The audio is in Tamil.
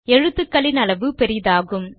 எழுத்துக்களின் அளவு பெரியதாகும்